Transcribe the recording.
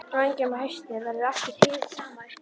Á engjum að hausti verður aftur hið sama uppi.